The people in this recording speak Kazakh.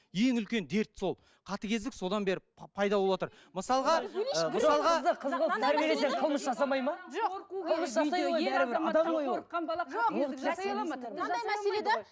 ең үлкен дерт сол қатыгездік содан бері пайда болыватыр мысалға ы мысалға